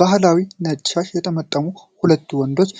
ባህላዊ ነጭ ሻሽ የጠመጠሙት ሁለት ወንዶች